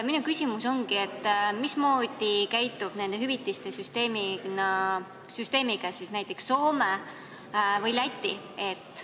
Minu küsimus ongi, mismoodi käitub nende hüvitiste maksmisel näiteks Soome või Läti.